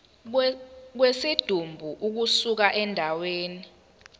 kwesidumbu ukusuka endaweni